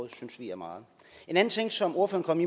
synes vi er meget en anden ting som ordføreren